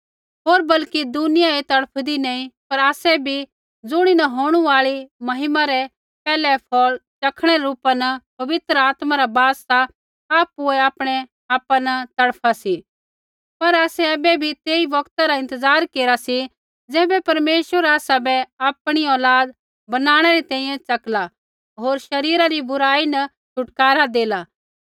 होर बल्कि दुनिया ही तड़फदी नैंई पर आसै भी ज़ुणीन होंणु आल़ी महिमा रै पैहलै फौल़ च़खणै रै रूपा न पवित्र आत्मा रा बास सा आपुऐ आपणैआपा न तड़फा सी पर आसै ऐबै बी तेई बौगता रा इंतज़ार केरा सी ज़ैबै परमेश्वर आसाबै आपणी औलाद बनाणै री तैंईंयैं च़कला होर शरीरा री बुराई न छुटकारा देला